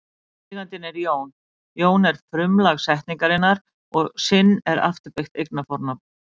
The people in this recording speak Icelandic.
Eigandinn er Jón, Jón er frumlag setningarinnar og sinn er afturbeygt eignarfornafn.